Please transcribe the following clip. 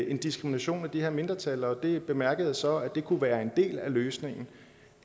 en diskrimination af de her mindretal og jeg bemærker så at det kunne være en del af løsningen